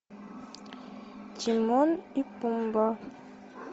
тимон и пумба